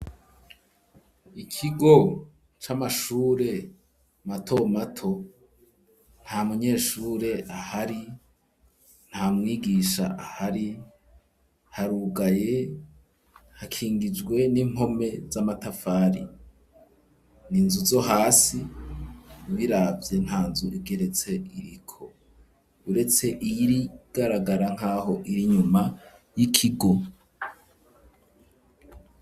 Ikigo c'amashure mato mato nta munyeshure ahari nta mwigisha ahari harugaye hakingijwe n'impome z'amatafari ni nzu zo hasi ubiraga vye nka nzu igeretse iriko uretse iy irigaragara nk'aho iri nyuma y'ikigo.